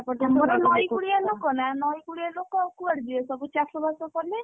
ଆମର ନଈ କୂଳିଆ ଲୋକ ନା ନଇ କୂଳିଆ ଲୋକ ଆଉ କୁଆଡେ ଯିବେ ସବୁ ଚାଷବାସ କଲେ।